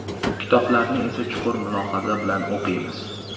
Kitoblarni esa chuqur mulohaza bilan o‘qiymiz.